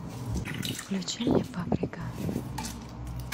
включи мне паприка